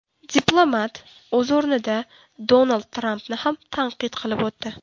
Diplomat, o‘z o‘rnida, Donald Trampni ham tanqid qilib o‘tdi.